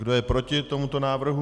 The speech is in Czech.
Kdo je proti tomuto návrhu?